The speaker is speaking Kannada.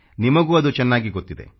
ನಿಮಗೂ ಅದು ಚೆನ್ನಾಗಿ ಗೊತ್ತಿದೆ